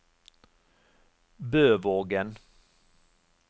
Bøvågen